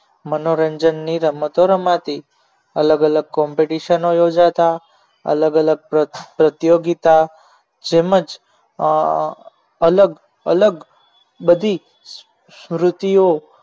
મનોરંજન ની રમતો રમાતી અલગ અલગ competition યોજાતા અલગ અલગ પ્રતિયોગિતા જેમ જ અલગ અલગ બધી સ્મૃતિઓ